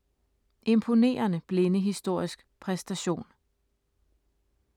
Imponerende blindehistorisk præstation